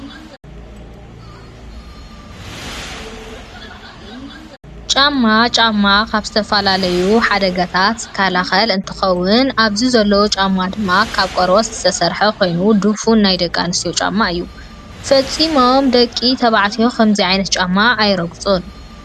ጫማ፦ ጫማ ካብ ዝተፈላለዩ ሓደጋታትን ዝከላኸል እንትከው ኣብዚ ዘሎ ጫማ ድማ ካብ ቆርበት ዝተሰርሐ ኮይኑ ድፉን ናይ ደቂ ኣንስትዮ ጫማ እዩ። ፊፂሞም ደቂ ተባዕትዮ ከምዙይ ዓይነት ጫማ ኣይረግፁን።